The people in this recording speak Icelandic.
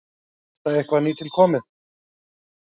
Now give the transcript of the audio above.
Er þetta eitthvað nýtilkomið?